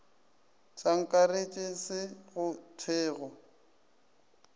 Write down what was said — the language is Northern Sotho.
sa akaretšwe se go thwego